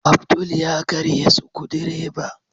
Abdul ya karye Sukudireba.